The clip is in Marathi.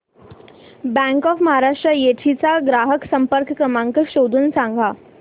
बँक ऑफ महाराष्ट्र येडशी चा ग्राहक संपर्क क्रमांक शोधून सांग